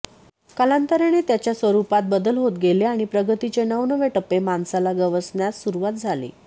कालांतराने त्याच्या स्वरूपात बदल होत गेले आणि प्रगतीचे नवनवे टप्पे मानवाला गवसण्यास सुरुवात झाली